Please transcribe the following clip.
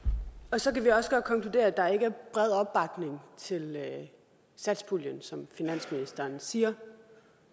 så kan vi også godt konkludere at der ikke er bred opbakning til satspuljen som finansministeren siger